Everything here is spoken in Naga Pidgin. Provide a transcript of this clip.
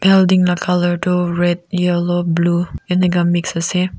building la colour toh red yellow blue enika mixed ase.